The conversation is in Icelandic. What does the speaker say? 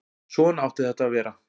Svona átti þetta að vera.